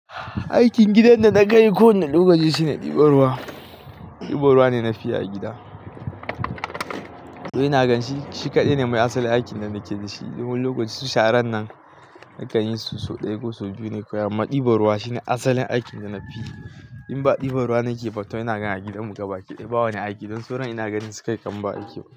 Aikin gidan da na ka yi kowane lokaci shine ɗiban ruwa. Ɗiban ruwa ne na fi a gida. To ina gan shi, shi kaɗai ne mai asalin aikin da nake da shi. Domin lokacin sharan nan nakan yi su so ɗaya, ko so biyu ne kawai. Amma ɗiban ruwa shine asalin aikin da na fi. In ba ɗiban ruwa nake fito ina gan a gidan mu gaba, ke ɗibawa ne aiki. Don sauran ina ganinsu kawai kaman ba aiki.